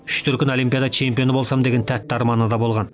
үш дүркін олимпиада чемпионы болсам деген тәтті арманы да болған